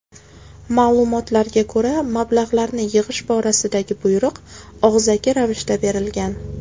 Ma’lumotlarga ko‘ra, mablag‘larni yig‘ish borasidagi buyruq og‘zaki ravishda berilgan.